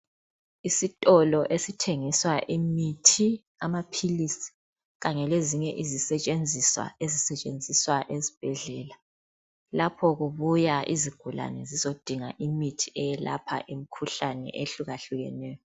Isitolo esithengisa imithi amaphilisi kanye lezinye izisetshenziswa ezisetahenziswa esibhedlela lapho kubuya izigulane zizodinga imithi eyelapha imikhuhlane ehlukahlukeneyo.